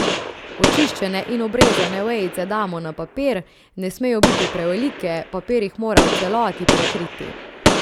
Očiščene in obrezane vejice damo na papir, ne smejo biti prevelike, papir jih mora v celoti prekriti.